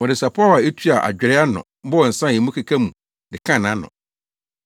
Wɔde sapɔw a etua adwerɛ ano bɔɔ nsa a emu keka mu de kaa nʼano.